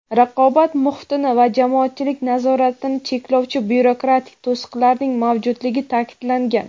raqobat muhitini va jamoatchilik nazoratini cheklovchi byurokratik to‘siqlarning mavjudligi ta’kidlangan.